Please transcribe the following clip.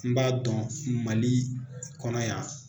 N b'a dɔn Mali kɔnɔ yan